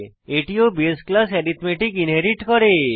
এটি ও base class arithmetic inherit করে